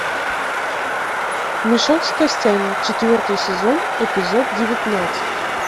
мешок с костями четвертый сезон эпизод девятнадцать